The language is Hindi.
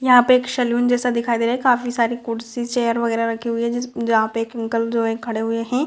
यहाँ पे एक सलून जैसा दिखाई दे रहा है काफी सारी कुर्सी चेयर वगेरा रखी हुई है जी जहां पे एक अंकल जो है खड़े हुए है।